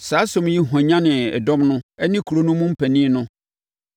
Saa asɛm yi hwanyanee dɔm no ne kuro no mu mpanin no.